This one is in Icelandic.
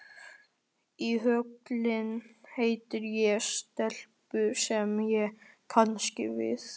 Í Höllinni hitti ég stelpu sem ég kannaðist við.